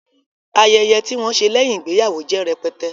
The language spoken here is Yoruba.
Ayẹyẹ tí wọn ṣe lẹ́yìn ìgbéyàwó jẹ́ rẹpẹtẹ